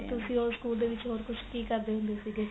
ਤੁਸੀਂ ਉਸ school ਦੇ ਵਿੱਚ ਹੋਰ ਕੁੱਝ ਕੀ ਕਰਦੇ ਹੁੰਦੇ ਸੀਗੇ